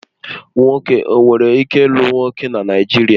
Nwoke ọ nwere ike lụ nwoke na Naijiria?